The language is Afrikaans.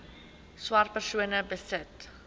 swart persone besit